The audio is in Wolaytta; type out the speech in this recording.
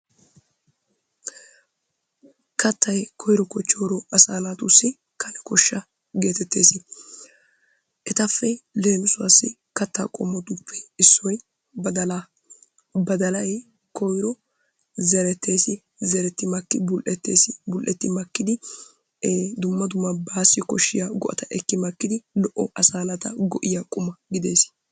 Kattay koyro kochchoro asaa naatussi kane koshsha geetetidi dees. Etappe lemisuwaasi katta qommottuppe issoy badalaa. Badalay koyro zerettees, zeretti makidi bul'ettees, bul'etti makkidi dumma dumma baasi koshshiyabgo'atta eki simidi asaa naata go'iya quma gidees.